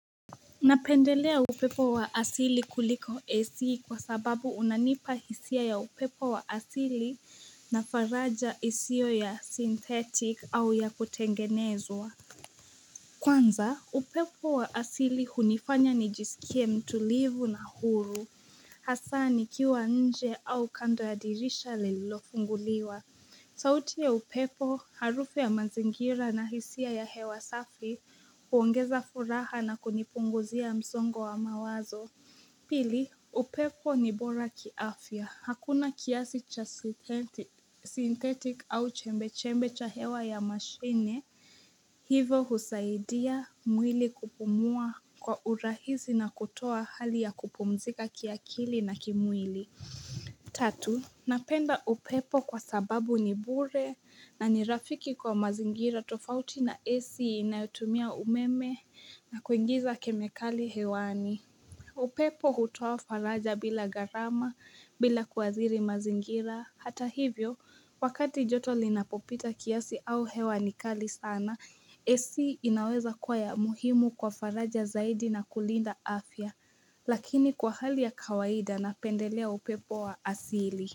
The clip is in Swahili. Ninapendelea upepo wa asili kuliko ac kwa sababu unanipa hisia ya upepo wa asili nafaraja isiyo ya synthetic au ya kutengenezwa Kwanza upepo wa asili hunifanya ni jisikie mtulivu na huru Hasa nikiwa nje au kando ya dirisha lililofunguliwa sauti ya upepo, harufu ya mazingira na hisia ya hewa safi kuongeza furaha na kunipunguzia msongo wa mawazo. Pili, upepo ni bora kiafya. Hakuna kiasi cha synthetic au chembe-chembe cha hewa ya mashine. Hivo husaidia mwili kupumua kwa urahisi na kutoa hali ya kupumzika kiakili na kimwili. Tatu, napenda upepo kwa sababu ni bure na ni rafiki kwa mazingira tofauti na AC inayotumia umeme na kuingiza kemikali hewani. Upepo hutoa faraja bila gharama bila kuathiri mazingira. Hata hivyo, wakati joto linapopita kiasi au hewa nikali sana, AC inaweza kuwa ya muhimu kwa faraja zaidi na kulinda afya. Lakini kwa hali ya kawaida na pendelea upepo wa asili.